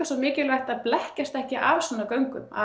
svo mikilvægt að blekkjast ekki af svona göngu